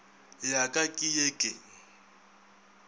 ya ka ke ye ke